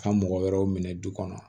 Ka mɔgɔ wɛrɛw minɛ du kɔnɔ